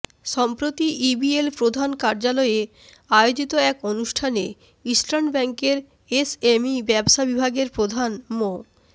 সম্প্রতি ইবিএল প্রধান কার্যালয়ে আয়োজিত এক অনুষ্ঠানে ইস্টার্ন ব্যাংকের এসএমই ব্যবসা বিভাগের প্রধান মো